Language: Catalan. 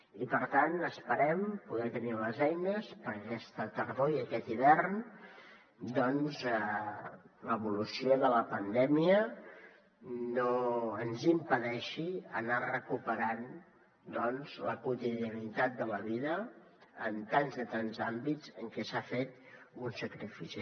i per tant esperem poder tenir les eines perquè aquesta tardor i aquest hivern doncs l’evolució de la pandèmia no ens impedeixi anar recuperant la quotidianitat de la vida en tants i tants àmbits en què s’ha fet un sacrifici